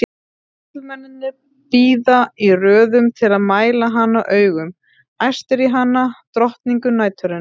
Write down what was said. Karlmennirnir bíða í röðum til að mæla hana augum, æstir í hana, drottningu næturinnar!